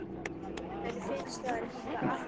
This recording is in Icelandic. Henni finnst það líka allt í lagi.